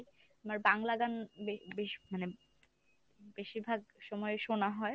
আমার বাংলা গান বে~ বেশি মানে বেশির ভাগ সময় শোনা হয় ।